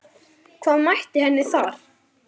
Hvað mætti henni þar?